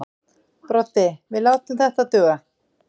Broddi: Við látum þetta duga.